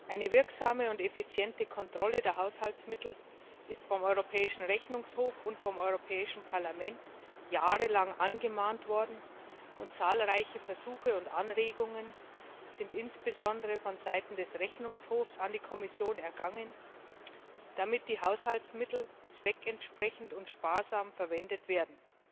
Eine wirksame und effiziente Kontrolle der Haushaltsmittel ist vom Europäischen Rechnungshof und vom Europäischen Parlament jahrelang angemahnt worden, und zahlreiche Versuche und Anregungen sind insbesondere vonseiten des Rechnungshofs an die Kommission ergangen, damit die Haushaltsmittel zweckentsprechend und sparsam verwendet werden.